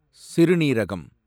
சிறுநீரகம்